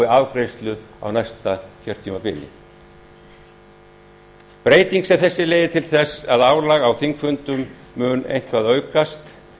afgreiðslu á næsta kjörtímabili breyting sem þessi leiðir til þess að álag á þingfundum mun eitthvað aukast